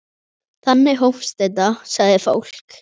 Þannig hófst þetta, sagði fólk.